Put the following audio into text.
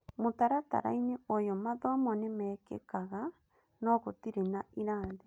mũtaratara-inĩ ũyũ mathomo nĩmekĩkaga no gũtire na irathi.